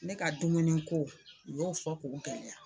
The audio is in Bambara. Ne ka dumuni ko u y'o fɔ k'o gɛlɛya